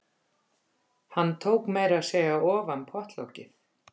Hann tók meira að segja ofan pottlokið.